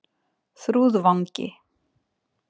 Þrúðvangi